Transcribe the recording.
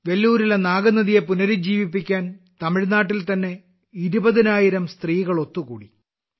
വെല്ലൂരിലെ നാഗനദിയെ പുനരുജ്ജീവിപ്പിക്കാൻ തമിഴ്നാട്ടിൽ തന്നെ 20000 സ്ത്രീകൾ ഒത്തുകൂടി